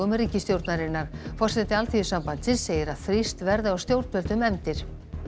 ríkisstjórnarinnar forseti Alþýðusambandsins segir að þrýst verði á stjórnvöld um efndir